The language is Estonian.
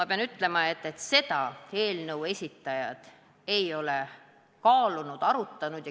Ma pean ütlema, et seda eelnõu esitajad ei ole kaalunud, arutanud.